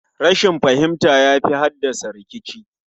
Rashin fahimta yafi haddasa rikici